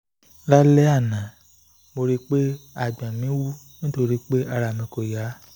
lálẹ́ àná mo rí pé àgbọ̀n mi wú nítorí pé ara mi kò yá